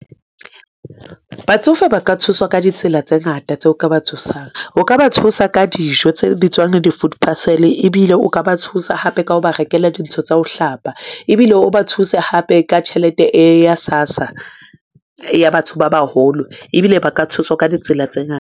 Batsofe ba ka thuswa ka ditsela tse ngata tseo o ka ba thusang. O ka ba thusa ka dijo tse bitswang di-food parcel ebile o ka ba thusa hape ka ho ba rekela dintho tsa ho hlapa, ebile o ba thuse hape ka tjhelete e ya SASSA ya batho ba baholo ebile ba ka thuswa ka ditsela tse ngata.